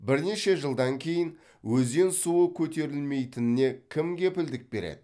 бірнеше жылдан кейін өзен суы көтерілмейтініне кім кепілдік береді